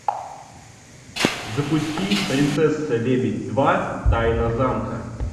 запусти принцесса лебедь два тайна замка